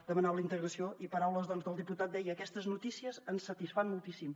demanava la integració i en paraules del diputat deia aquestes notícies ens satisfan moltíssim